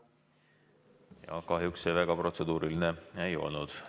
Kahjuks see väga protseduuriline ei olnud.